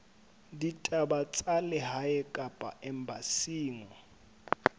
ditaba tsa lehae kapa embasing